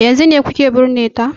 Yanzun ne kuke binne ta?